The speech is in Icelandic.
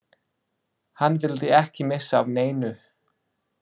Hann vildi ekki missa af neinu.